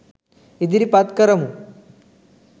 ඉදිරිපත් කරමු.